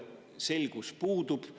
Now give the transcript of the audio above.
Selgus puudub.